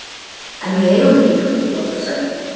En við eigum ekki hrúgu af seðlum.